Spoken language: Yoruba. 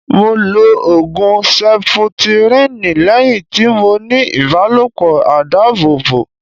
Mo lo Ògùn seputiríǹ lẹ́yìn tí mo ní ìbálòpọ̀ àìdábòbò.